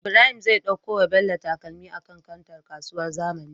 Ibrahim zai ɗauko wa bello takalmi a kan kantar kasuwar zamani